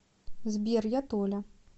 сбер я толя